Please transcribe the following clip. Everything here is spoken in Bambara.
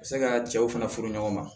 U bɛ se ka cɛw fana furu ɲɔgɔn ma